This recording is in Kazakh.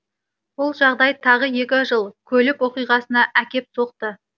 бұл жағдай тағы екі жол көлік оқиғасына әкеп соқты